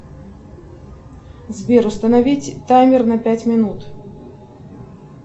сбер установить таймер на пять минут